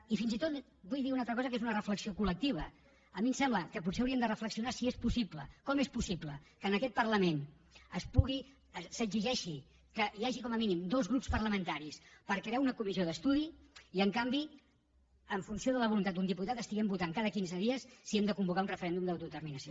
i fins i tot vull dir una altra cosa que és una reflexió col·lectiva a mi em sembla que potser hauríem de reflexionar si és possible com és possible que en aquest parlament s’exigeixi que hi hagi com a mínim dos grups parlamentaris per crear una comissió d’estudi i en canvi en funció de la voluntat d’un diputat estiguem votant cada quinze dies si hem de convocar un referèndum d’autodeterminació